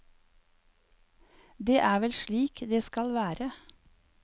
Det er vel slik det skal være.